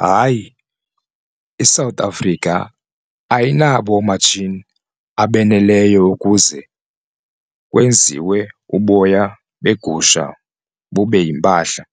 Hayi, iSouth Africa ayinabo oomatshini abaneleyo ukuze kwenziwe uboya begusha bube yimpahla